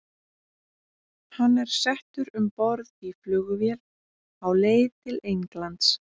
Hann er settur um borð í flugvél á leið til Englands.